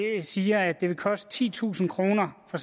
siger at det vil koste titusind kroner for